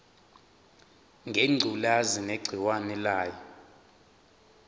ngengculazi negciwane layo